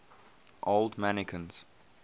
old mancunians